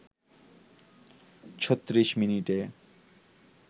৩৬ মিনিটে